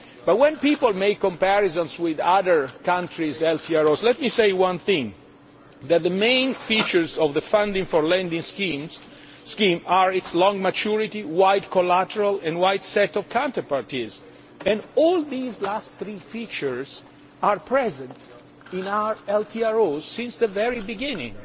But when people make comparisons with other countries' LTROs, let me say one thing the main features of the funding for lending scheme are its long maturity, wide collateral and wide set of counterparties, and all these last three features have been present in our LTROs from the very beginning.